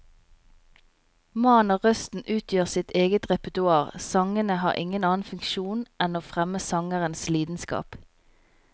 Mannen og røsten utgjør sitt eget repertoar, sangene har ingen annen funksjon enn å fremme sangerens lidenskap.